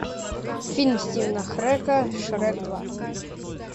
фильм стивена херека шрек два